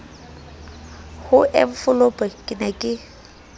ho enfolopo ke ne ke